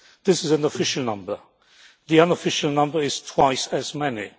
This is an official number, the unofficial number is twice as many.